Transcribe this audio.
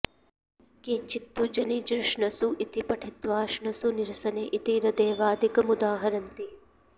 केचित्तु जनी जॄ ष्णसु इति पठित्वाष्णसु निरसने इति रदैवादिकमुदाहरन्ति